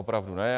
Opravdu, ne.